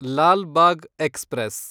Lal Bagh express